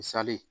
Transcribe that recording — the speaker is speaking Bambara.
Misali